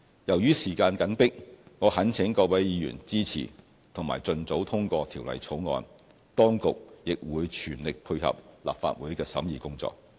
由於時間緊迫，我懇請各位議員支持及盡早通過《條例草案》，當局亦會全力配合立法會的審議工作。